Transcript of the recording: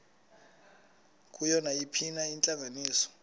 kuyo nayiphina intlanganiso